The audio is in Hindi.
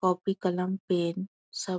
कॉपी कलम पेन सब --